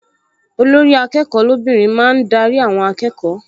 Olórí-akẹ́kọ̀ọ́ lóbìnrin máa ń darí àwọn akẹ́kọ̀ọ